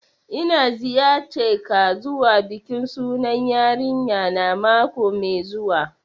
N'na ziyace ka zuwa bikin sunan yarinya na makoai zuwa.